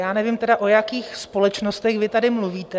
Já nevím tedy, o jakých společnostech vy tady mluvíte.